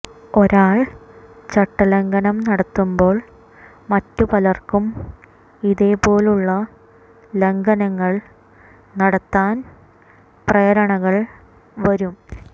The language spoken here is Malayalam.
ഒരാൾ ചട്ടലംഘനം നടത്തുമ്പോൾ മറ്റു പലർക്കും ഇതേ പോലുള്ള ലംഘനങ്ങൾ നടത്താൻ പ്രേരണകൾ വരും